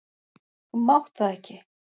Þú mátt það ekki!